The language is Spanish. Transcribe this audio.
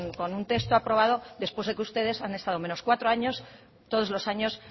con un texto aprobado después de que ustedes han estado menos cuatro años todos los años